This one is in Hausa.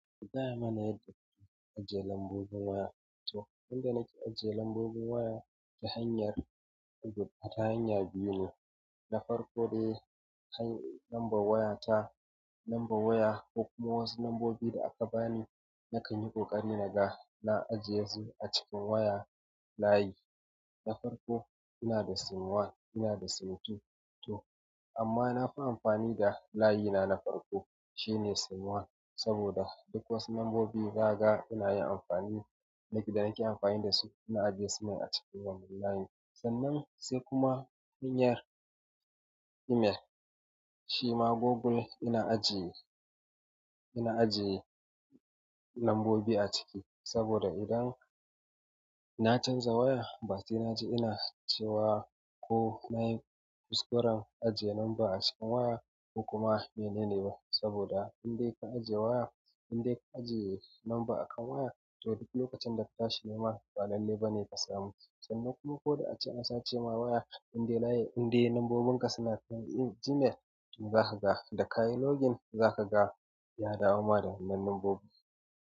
Ku gaya mana yanda kuke ajiye lambobin waya. To inda nake ajiye lambobin waya ta hanyar, ta hanya biyu ne. Na farko dai, number waya ta, number waya ko kuma wasu lambobi da aka bani, na kan yi ƙoƙari naga na ajiye su a cikin waya layi. Na farko ina da SIM one, ina da SIM two. To amma na fi amfani da layi na na farko, shine sim one saboda duk wasu lambobi za ka ga da na ke amfani da su ina ajiye su acikin layin sannan sai kuma hanyar email, shima Google ina ajiye nambobi a ciki. Sabida idan na chanza waya ba sau na je ina cewa ko nayi fuskaran ajiye lamba a cikin waya ko kuma mene ne ba. Saboda indai ka ajiye waya, indai ka ajiye lamba a kan waya, to duk lokacin da ka tashi nema ba lalle ba ne ka samu. Sannan kuma ko da ace an sace ma waya, indai layi, indai lambobin ka suna cikin Gmail, zaka ga. Da ka yi login zaka ga ya dawo ma da wannan lambobi.